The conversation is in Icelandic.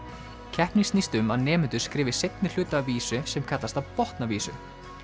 keppnin snýst um að nemendur skrifi seinni hluta af vísu sem kallast að botna vísu